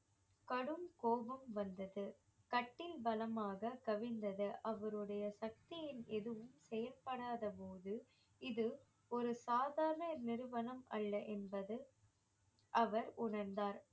கடும் கோபம் வந்தது கட்டில் பலமாக கவிழ்ந்தது அவருடைய சக்தியின் எதுவும் செயல்படாத போது இது ஒரு சாதாரண நிறுவனம் அல்ல என்பது அவர் உணர்ந்தார்